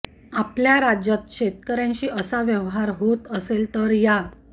आपल्या राज्यात शेतकऱ्यांशी असा व्यवहार होत असेल तर या